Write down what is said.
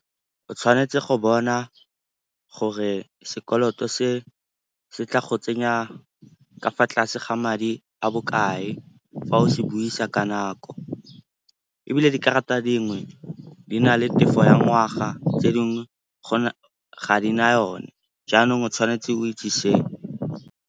O tshwanetse go bona gore sekoloto se se tla go tsenya ka fa tlase ga madi a bokae fa o se buisa ka nako. Ebile dikarata dingwe di na le tefo ya ngwaga tse dingwe ga di na yone, jaanong o tshwanetse o itse seo.